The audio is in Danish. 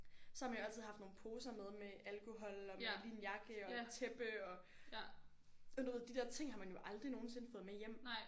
Så har man jo altid haft nogle poser med med alkohol og med lige en jakke og tæppe og sådan noget de der ting har man jo aldrig nogensinde fået med hjem